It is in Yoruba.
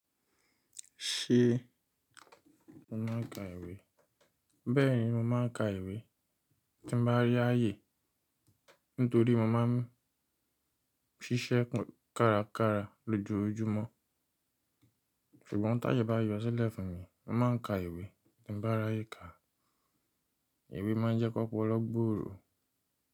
Ṣé o máa ń ka ìwé? Bẹ́ẹ̀ni mo máa ń ka ìwé, tí mo bá rí áye nítorí mo máa ń ṣiṣẹ́ kárakára lójoojúmọ́. Ṣùgbọ́n táyè bá yọ sílẹ̀ fún mi, mo máa ń ka ìwé tí bá ráyè ka. Ìwé máa ń jẹ́ kọ́pọ̀ọlọ́ gbọ́òrò.